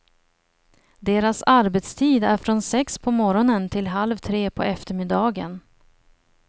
Deras arbetstid är från sex på morgonen till halv tre på eftermiddagen.